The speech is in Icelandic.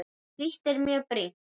Slíkt er mjög brýnt.